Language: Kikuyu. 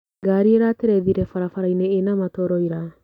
Ngari ĩraterethire barabarainĩ ĩna matoro ira.